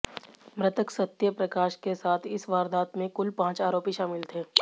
मृतक सत्य प्रकाश के साथ इस वारदात में कुल पांच आरोपी शामिल थे